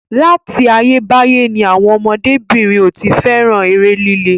Láti ayé báyé ni àwọn ọmọdé-bìnrin ò tí fẹ́ràn eré líle.